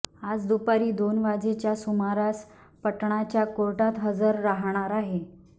आज दुपारी दोन वाजेच्या सुमारास पाटणाच्या कोर्टात हजर राहणार आहे